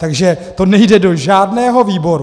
Takže to nejde do žádného výboru.